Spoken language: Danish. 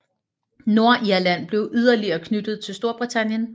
Nordirland blev yderligere knyttet til Storbritannien